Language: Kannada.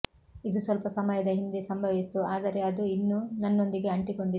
ಇದು ಸ್ವಲ್ಪ ಸಮಯದ ಹಿಂದೆ ಸಂಭವಿಸಿತು ಆದರೆ ಅದು ಇನ್ನೂ ನನ್ನೊಂದಿಗೆ ಅಂಟಿಕೊಂಡಿತು